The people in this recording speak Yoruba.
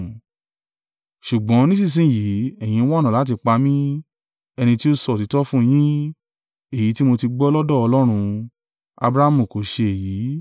Ṣùgbọ́n nísinsin yìí, ẹ̀yin ń wá ọ̀nà láti pa mí, ẹni tí ó sọ òtítọ́ fún yín, èyí tí mo ti gbọ́ lọ́dọ̀ Ọlọ́run, Abrahamu kò ṣe èyí.